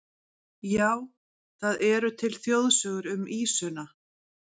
Já, það eru til þjóðsögur um ýsuna.